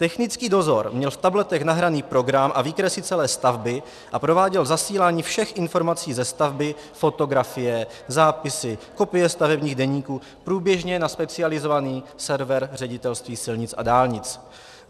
Technický dozor měl v tabletech nahraný program a výkresy celé stavby a prováděl zasílání všech informací ze stavby - fotografie, zápisy, kopie stavebních deníků - průběžně na specializovaný server Ředitelství silnic a dálnic.